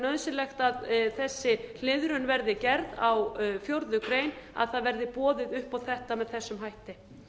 nauðsynlegt að þessi hliðrun verði gerð á fjórðu grein að það verði boðið upp á þetta með þessum hætti